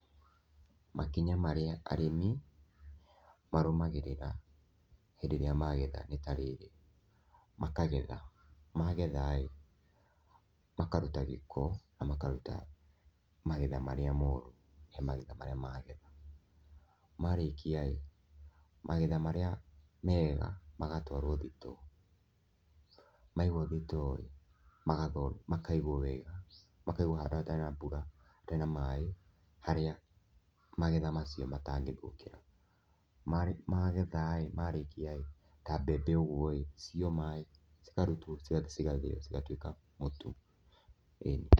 Makinya marĩa arĩmi marũmagĩrĩra hĩndĩ ĩrĩa magetha nĩ ta rĩrĩ, makagetha, magethaĩ, makaruta gĩko na makaruta magetha marĩa moru he magetha marĩa magetha, marĩkia rĩ, magetha marĩa mega magatwarwo thitoo, maigwo thitoo ĩ, makaigwo wega makaigwo harĩa hatarĩ na mbura, hatarĩ na maĩ, harĩa magetha macio matangĩthũkĩra, magethaĩ marĩkiaĩ, ta mbembe ũguoĩ ciomaĩ, cikarutwo ciothe cigatuĩka mũtu, ĩni.